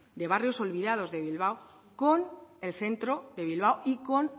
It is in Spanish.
de barrios olvidado de bilbao con el centro de bilbao y con